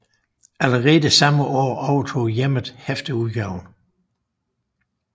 Allerede samme år overtog Hjemmet hæfteudgaven